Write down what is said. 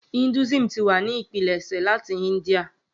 Hinduism ti wa ni ipilẹṣẹ lati India.